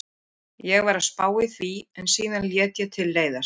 Ég var að spá í því en síðan lét ég til leiðast.